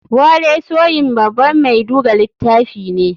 Wole soyin baban mai duga litafi ne.